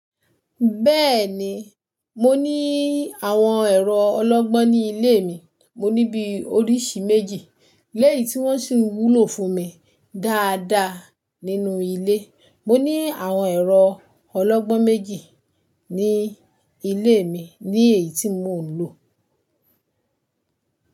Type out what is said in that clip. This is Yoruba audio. Bẹ́ẹ̀ni, mo ní àwọn ẹ̀rọ ọlọ́gbọ́n ní ilé mi. Mo ní bí oríṣi méjì, léyìí tí wọ́n sì ń wúlò fún mi dáadáa nínú ilé. Mo ní àwọn ẹ̀rọ ọlọ́gbọ́n méjì ní ilé mi, ni eyi tí mò ń lò.